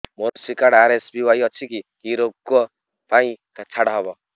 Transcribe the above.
ମୋର କୃଷି card RSBY ଅଛି କି କି ଋଗ ପାଇଁ ଛାଡ଼ ହବ